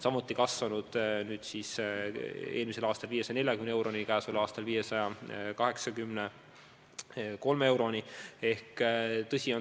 See kasvas eelmisel aastal 540 euroni ja käesoleval aastal kasvab 583 euroni.